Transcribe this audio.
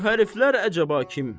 Şu həriflər əcəba kim?